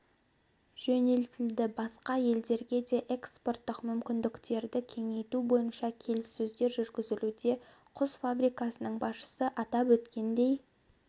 жөнелтілді басқа елдерге де экспорттық мүмкіндіктерді кеңейту бойынша келіссөздер жүргізілуде құс фабрикасының басшысы атап өткендей